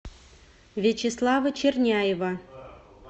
вячеслава черняева